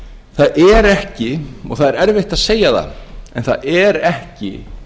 það er ekki og það er erfitt að segja það það er ekki